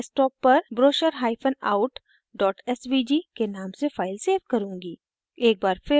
मैं अपने desktop पर brochureout svg के name से फाइल svg करुँगी